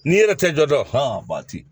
N'i yɛrɛ tɛ jɔ bati